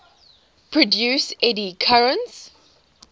produce eddy currents